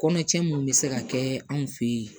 Kɔnɔcɛ mun be se ka kɛ anw fe ye